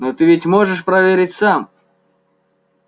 но ты ведь можешь проверить сам